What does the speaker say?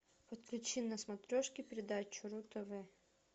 подключи на смотрешке передачу ру тв